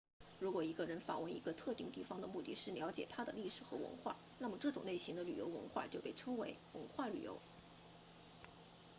如果一个人访问一个特定地方的目的是了解它的历史和文化那么这种类型的旅游活动就被称为文化旅游